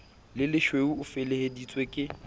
le lesweu o feleheditswe ke